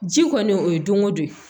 Ji kɔni o ye donko don